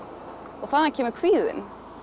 og þaðan kemur kvíðinn